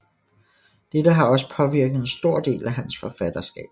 Dette har også påvirket en stor del af hans forfatterskab